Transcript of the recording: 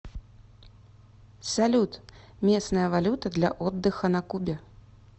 салют местная валюта для отдыха на кубе